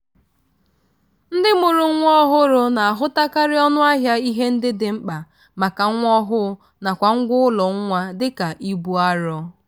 ndị mụrụ nwa ọhụrụ na-ahụtakarị ọnụ ahịa ihe ndị dị mkpa maka nwa ọhụụ nakwa ngwa ụlọ nwa dika ibu arọ.